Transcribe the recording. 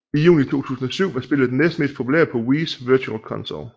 I juni 2007 var spillet det næstmest populære spil på Wiis Virtual Console